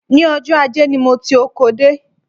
Ní ọjọ́ ajé ni mo ti oko dé